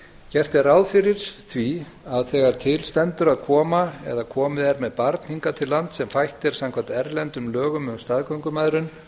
gert er ráð fyrir því að þegar til stendur að koma eða komið er með barn hingað til lands sem fætt er samkvæmt erlendum lögum um staðgöngumæðrun